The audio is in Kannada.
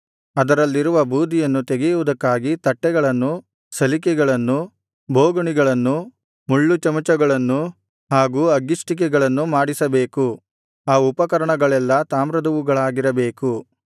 ಅದರಲ್ಲಿರುವ ಬೂದಿಯನ್ನು ತೆಗೆಯುವುದಕ್ಕಾಗಿ ತಟ್ಟೆಗಳನ್ನೂ ಸಲಿಕೆಗಳನ್ನೂ ಬೋಗುಣಿಗಳನ್ನೂ ಮುಳ್ಳುಚಮಚಗಳನ್ನೂ ಹಾಗೂ ಅಗ್ಗಿಷ್ಟಿಕೆಗಳನ್ನೂ ಮಾಡಿಸಬೇಕು ಆ ಉಪಕರಣಗಳೆಲ್ಲಾ ತಾಮ್ರದವುಗಳಾಗಿರಬೇಕು